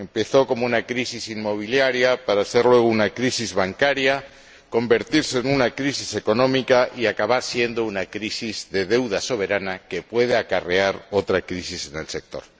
Empezó como una crisis inmobiliaria, para ser luego una crisis bancaria, convertirse en una crisis económica y acabar siendo una crisis de deuda soberana que puede acarrear otra crisis en el sector.